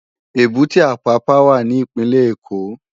Ébùté Ápàpá wá ni Ipinlè Ékó